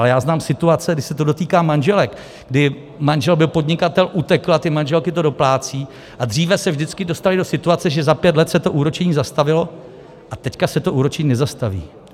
Ale já znám situace, kdy se to dotýká manželek, kdy manžel byl podnikatel, utekl a ty manželky to doplácejí, a dříve se vždycky dostaly do situace, že za pět let se to úročení zastavilo, a teď se to úročení nezastaví.